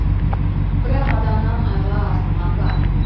бірақ адамнан айла артылған ба